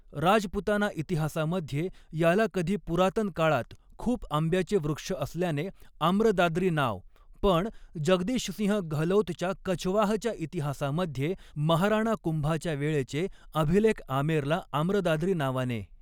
राजपूताना इतिहासामध्ये याला कधी पुरातनकाळात खूप आंब्याचे वृक्ष असल्याने आम्रदाद्री नाव पण जगदीश सिंह गहलौतच्या कछवाहच्या इतिहासामध्ये महाराणा कुम्भाच्या वेळेचे अभिलेख आमेरला आम्रदाद्रि नावाने